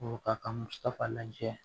Ɔ ka musaka lajɛ